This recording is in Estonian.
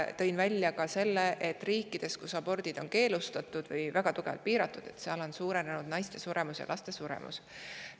Tõin esile ka selle, et riikides, kus abordid on keelustatud või väga tugevasti piiratud, on naiste ja laste suremus suurenenud.